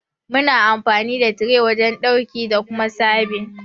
Muna amfani da tire wajen dauki da Kuma serbin.